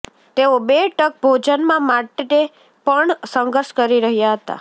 તેઓ બે ટંક ભોજનમાં માટે પણ સંઘર્ષ કરી રહ્યાં હતા